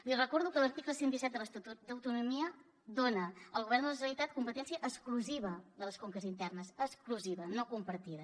li recordo que l’article cent i disset de l’estatut d’autonomia dona al govern de la generalitat competència exclusiva de les conques internes exclusiva no compartida